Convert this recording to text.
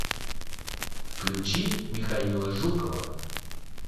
включи михаила жукова